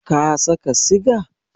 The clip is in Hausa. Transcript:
Ka saka siga?